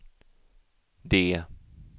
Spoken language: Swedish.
D